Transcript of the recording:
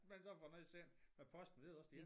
Man så får noget sendt med posten men det også dét